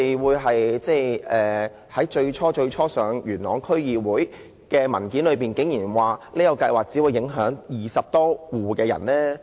為何在最初提交元朗區議會的文件中竟然指出有關計劃只會影響20多戶居民？